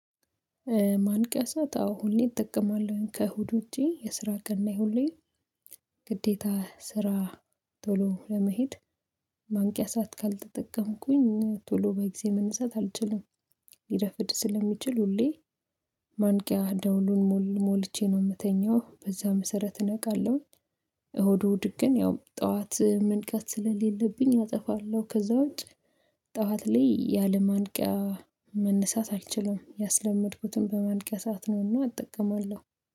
ማንቀሳት አዎ ሁሌ እጠቀማለሁ ከእሁድ ውጪ የስራ ቀን ላይ ሁሌ ግዴታ ስራ ቶሎ ለመሄድ ማንቂያ ሰዓት ካልተጠቀምኩኝ ቶሎ በጊዜ መነሳት አልችልም ሊረፍድ ስለሚችል ሁሌ ማንቂያ ደውሉን ሞል ሞልቼ ነው የምተኛው በዛ መሰረት እነቃለሁኝ። እሁድ እሁድ ግን ያው ጠዋት መንቃት ስለሌለብኝ አጠፋለሁ ከዛ ውጪ። ጠዋት ላይ ያለማንቂያ መነሳት አልችልም ያስለመድኩትን በማንቂያ ሰዓት ነው እና እጠቀማለሁ።